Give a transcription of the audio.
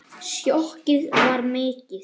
Sjokkið var mikið.